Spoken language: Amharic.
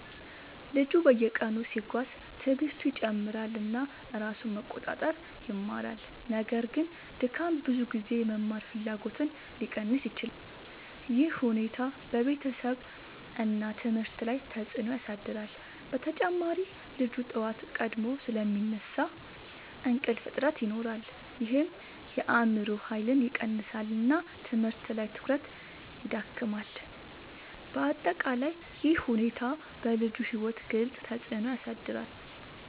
ልጁ በየቀኑ ሲጓዝ ትዕግስቱ ይጨምራል እና ራሱን መቆጣጠር ይማራል። ነገር ግን ድካም ብዙ ጊዜ የመማር ፍላጎትን ሊቀንስ ይችላል። ይህ ሁኔታ በቤተሰብ እና ትምህርት ላይ ተጽዕኖ ያሳድራል። በተጨማሪ ልጁ በጠዋት ቀድሞ ስለሚነሳ እንቅልፍ እጥረት ይኖራል ይህም የአእምሮ ኃይልን ይቀንሳል እና ትምህርት ላይ ትኩረት ይዳክማል። በአጠቃላይ ይህ ሁኔታ በልጁ ሕይወት ግልጽ ተፅዕኖ ያሳድራል።